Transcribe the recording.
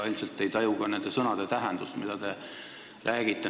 Ilmselt ei taju te ka selle tähendust, mida te räägite.